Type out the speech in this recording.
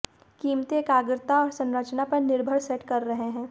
कीमतें एकाग्रता और संरचना पर निर्भर सेट कर रहे हैं